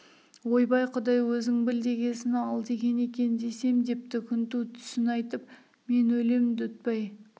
ойбай құдай өзің біл дегесін ал деген екен десем депті күнту түсін айтып мен өлем дүтбай